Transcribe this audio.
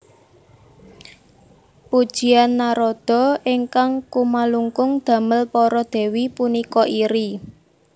Pujian Narada ingkang kumalungkung damel para dèwi punika iri